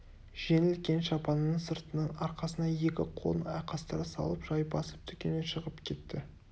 жеңіл кең шапанының сыртынан арқасына екі қолын айқастыра салып жай басып дүкеннен шығып кетті